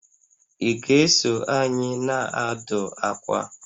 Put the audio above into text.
Ị ga-eso anyị na-adụ akwa?